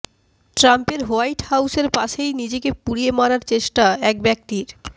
ট্রাম্পের হোয়াইট হাউসের পাশেই নিজেকে পুড়িয়ে মারার চেষ্টা এক ব্যক্তির